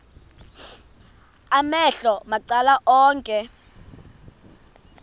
amehlo macala onke